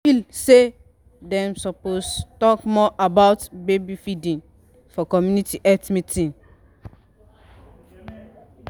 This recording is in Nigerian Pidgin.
feel say dem suppose talk more about baby feeding for community health meeting.